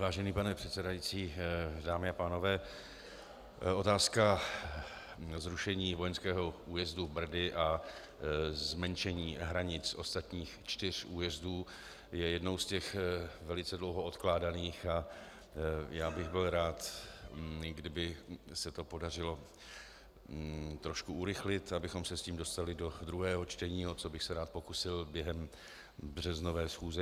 Vážený pane předsedající, dámy a pánové, otázka zrušení vojenského újezdu Brdy a zmenšení hranic ostatních čtyř újezdů je jednou z těch velice dlouho odkládaných a já bych byl rád, kdyby se to podařilo trošku urychlit, abychom se s tím dostali do druhého čtení, o což bych se rád pokusil během březnové schůze.